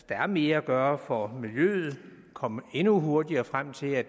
der er mere at gøre for miljøet at komme endnu hurtigere frem til at